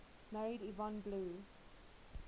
married yvonne blue